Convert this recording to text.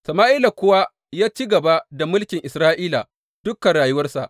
Sama’ila kuwa ya ci gaba da mulkin Isra’ila dukan rayuwarsa.